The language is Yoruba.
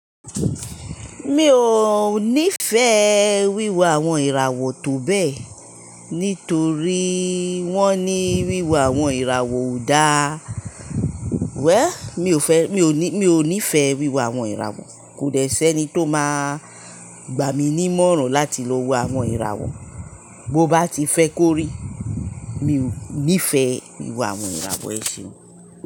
Mi ò níì fẹ́ wíwo àwọn ìràwọ̀ tó bẹ́ẹ̀, nítorí wọ́n ní wíwo àwọn ìràwọ̀ ò dá. Wéll, mi ò fẹ́, mi ò ní, mi ò ní fẹ́ wíwo àwọn ìràwọ̀. Kòdẹ̀ ṣi ẹni tó máa gbà mí ní ìmọ̀ràn láti lọ wo àwọn ìràwọ̀. Bo bá ti fẹ́ kóri, mi ò ní fẹ́ wíwo àwọn ìràwọ̀ ẹ ṣeun.